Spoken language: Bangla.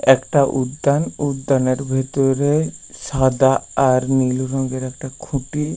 একটা উদ্যান উদ্যান এর ভিতরে সাদা আর নীল রঙের একটা খুঁটি।